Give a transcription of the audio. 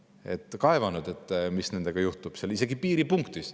Nad on kaevanud, mis nendega juhtub isegi piiripunktis.